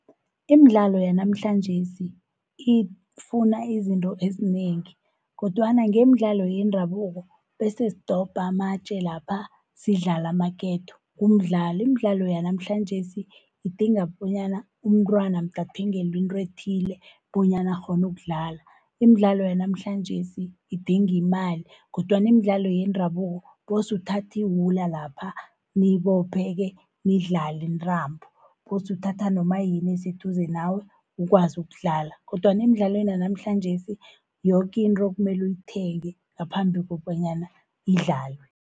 Imidlalo yanamhlanjesi ifuna izinto ezinengi, kodwana ngemidlalo yendabuko bese sidobha amatje lapha sidlala amaketo, kumdlalo. Imidlalo yanamhlanjesi idinga bonyana, umntwana mde athengelwe into ethile bonyana akghone ukudlala. Imidlalo yanamhlanjesi idinga imali, kodwana imidlalo yendabuko kose uthathe iwula lapha, niyibophe-ke nidlali intambo. Kose uthatha noma yini eseduze nawe ukwazi ukudlala, kodwana emidlalweni yanamhlanjesi yoke into kumele uyithenge ngaphambi kobanyana idlalwe.